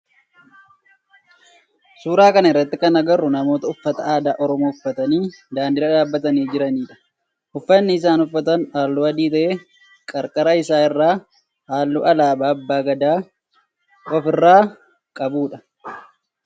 Suuraa kana irratti kan agarru namoota uffata aadaa oromoo uffatanii daandii irra dhaabbatanii jiranidha. Uffanni isaan uffatan halluu adii ta'ee qarqara isaa irraa halluu alaabaa abbaa Gadaa of irraa qaba.